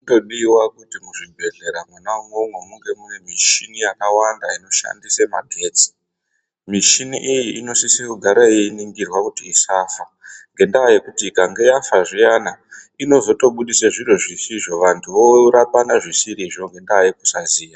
Zvinodiwa kuti muzvibhedhleya mwona imwomwo munge mune mushini yakawanda inoshandiswa magetsi. Mishini iyi inosisa kugara yeiningirwa kuti isafa, ngendaa yekuti ikange yafa zviyana inotozobudisa zvinhu zvisizvo vantu vorapana zvisirizvo ngendaa yekusaziya.